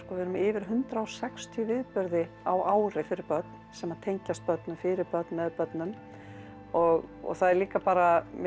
við erum með yfir hundrað og sextíu viðburði á ári fyrir börn sem tengjast börnum fyrir börn með börnum og það er líka bara mér